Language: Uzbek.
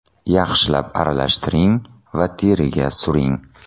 Yaxshilab aralashtiring va teriga suring.